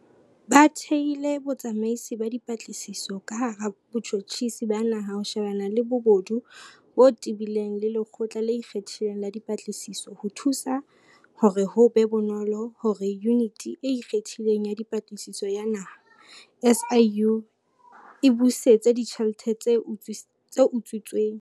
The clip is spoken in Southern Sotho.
Re thehile Botsamaisi ba Dipatlisiso ka hara Botjhotjhisi ba Naha ho shebana le bobodu bo tebileng le Lekgotla le Ikgethileng la Dipatlisiso ho thusa hore ho be bonolo hore Yuniti e Ikgethileng ya Dipatlisiso ya Naha, SIU, e busetse ditjhelete tse utswitsweng.